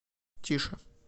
тише